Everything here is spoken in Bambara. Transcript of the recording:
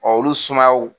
olu sumayaw